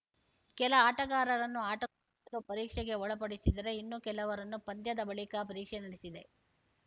ಕೆಲ ಆಟಗಾರರನ್ನು ಆಟಕ್ಕೂ ಮೊದಲು ಪರೀಕ್ಷೆಗೆ ಒಳಪಡಿಸಿದರೆ ಇನ್ನೂ ಕೆಲವರನ್ನು ಪಂದ್ಯದ ಬಳಿಕ ಪರೀಕ್ಷೆ ನಡೆಸಿದೆ